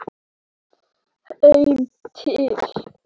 Heim til